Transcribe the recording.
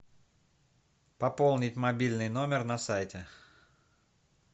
пополнить мобильный номер на сайте